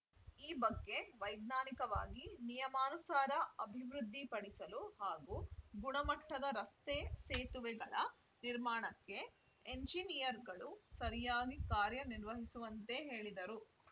ಈ ಬಗ್ಗೆ ವೈಜ್ಞಾನಿಕವಾಗಿ ನಿಯಮನುಸಾರ ಅಭಿವೃದ್ಧಿಪಡಿಸಲು ಹಾಗೂ ಗುಣಮಟ್ಟದ ರಸ್ತೆ ಸೇತುವೆಗಳ ನಿರ್ಮಾಣಕ್ಕೆ ಎಂಜಿನಿಯರ್‌ಗಳು ಸರಿಯಾಗಿ ಕಾರ್ಯನಿರ್ವಹಿಸುವಂತೆ ಹೇಳಿದರು